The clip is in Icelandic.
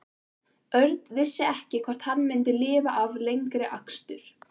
Örn vissi ekki hvort hann myndi lifa af lengri akstur.